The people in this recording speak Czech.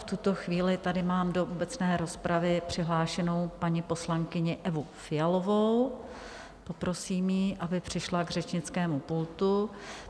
V tuto chvíli tady mám do obecné rozpravy přihlášenou paní poslankyni Evu Fialovou, poprosím ji, aby přišla k řečnickému pultu.